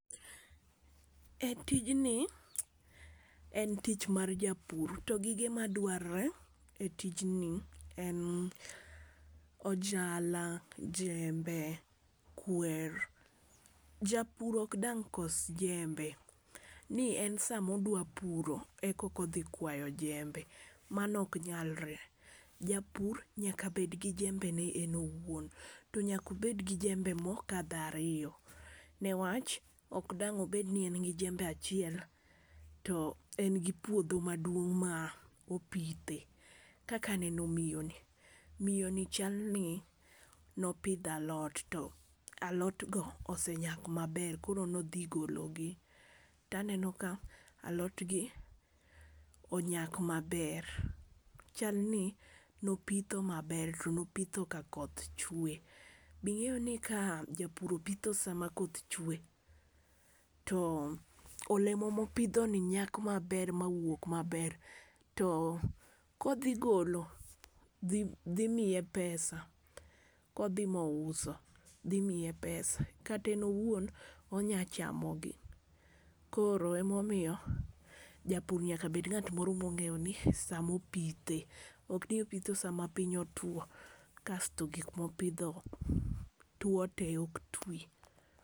E tijni en tich mar japur to gige madwarore e tijni en ojala, jembe, kwer. Japur ok dang' kos jembe ni en samo dwa pur ekoka odhi kwayo jembe mano ok nyalre. Japur nyaka bed gi jembe ne enowuon to nyako bed gi jembe mokadho ariyo newach ok dang' obed ni en gi jembe achiel to en gi puodho maduong' ma opithe kaka aneno miyo ni , miyo ni chal ni nopidho alot to alot go osenyak maber koro nodhi golo gi . Taneno ka alot gi onyak maber, chal ni nopitho maber to nopitho ka koth chwe. Bing'eyo ni ka japur opitho sama koth chwe to olemo mopidho ni nyak maber ma wuok maber to kodhi golo , dhi dhi miye pesa kodhi mouso dhi miye pesa kata en owuon onya chamo gi. Koro emomiyo japur nyaka bed ng'at moro mong'eyo ni samo pithe ok ni opitho sama piny otwo kasto gik mopidho two tee ok twi.